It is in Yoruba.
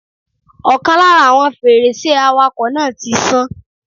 Ọ̀kan lára àwọn fèrèsé awàkọ̀ náà tí sán.